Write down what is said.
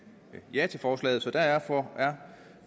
ja til forslaget så derfor